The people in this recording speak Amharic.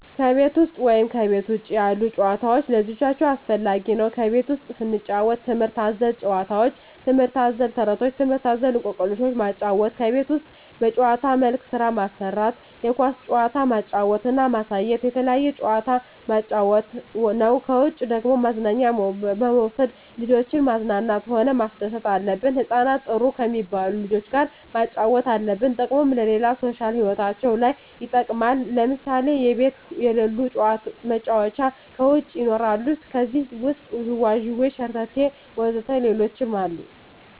ከቤት ውሰጥ ወይም ከቤት ውጭ ያሉ ጭዋታዎች ለልጆቻቸው አስፈላጊ ነው ከቤት ውስጥ ስንጫወት ትምህርት አዘል ጫውውቶች ትምህርት አዘል ተረቶች ትምህርት አዘል እኮክልሾችን ማጫወት ከቤት ውስጥ በጭዋታ መልክ ስራ ማሰራት የኳስ ጭዋታ ማጫወት እና ማሳየት የተለያየ ጭዋታ ማጫወት ነው ከውጭ ደግሞ መዝናኛ በመውሰድ ልጆችን ማዝናናት ሆነ ማስደሰት አለብን ህጻናትን ጥሩ ከሜባሉ ልጆች ጋር ማጫወት አለብን ጥቅሙም ለሌላ ሦሻል ህይወታቸው ለይ ይጠቅማል ለምሳሌ ከቤት የለሉ መጫወቻ ከውጭ ይኖራሉ ከዜህ ውሰጥ ጅዋጅዌ ሸረተቴ ወዘተ ሌሎችም አሉ